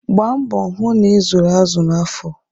Gbaa mbọ hụ na ị zụrụ azụ n'afọ.